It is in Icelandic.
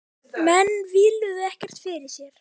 Menn víluðu ekkert fyrir sér.